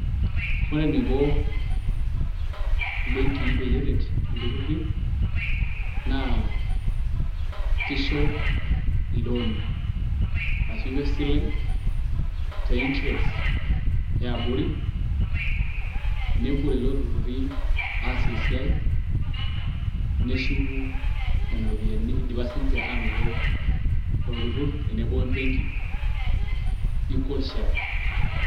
ore eneiko imbenki peyie eret iltururi naa kisho, ilooni, ashu isho isilen te interest yiaabori, nepuo lelo tururi aas esiai neshuku nena ropiyiani, idipa siii ninche aanoto olturur tenebo we benki equal share.